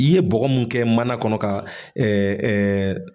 I ye bɔgɔ mun kɛ mana kɔnɔ ka